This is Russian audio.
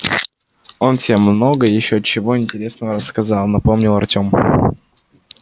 он тебе много ещё чего интересного рассказал напомнил артём